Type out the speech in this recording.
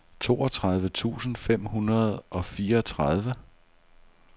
toogtredive tusind fem hundrede og fireogtredive